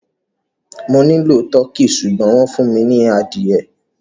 Mo nilọ Tọ̀kì ṣùgbọ̀n wọn fún mi ni adìẹ